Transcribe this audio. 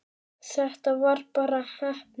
Þetta var bara heppni.